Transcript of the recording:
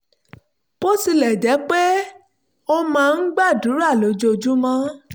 bó tilẹ̀ jẹ́ pé ó máa ń gbàdúrà lójoojúmọ́